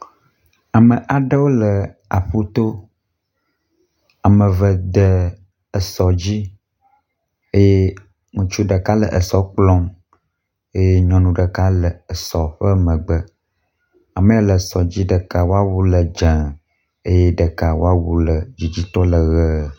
Ame aɖewo le aƒu to. Ame eve de esɔ dzi eye ŋutsu ɖeka le esɔ kplɔm eye nyɔnu ɖeka le esɔ ƒe megbe. Amee le esɔ di ɖeka wɔ wu le dze eye ɖeka wɔ wu le dzidzitɔ le ʋe.